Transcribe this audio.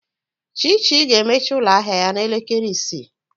Chichi ga-emechi ụlọ ahịa ya n'elekere isii.